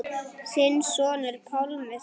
Þinn sonur, Pálmi Þór.